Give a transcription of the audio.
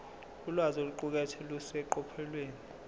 ulwazi oluqukethwe luseqophelweni